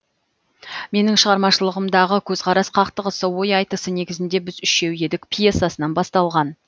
менің шығармашылығымдағы көзқарас қақтығысы ой айтысы негізінде біз үшеу едік пьесасынан басталған